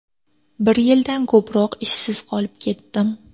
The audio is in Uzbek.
Bir yildan ko‘proq ishsiz qolib ketdim.